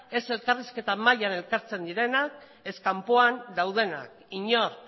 ez elkarrizketa mahaian elkartzen direnak ez kanpoan daudenak inork